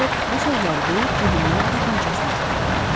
Retchett bu sözləri deyib cibindən tapançasını çıxardı.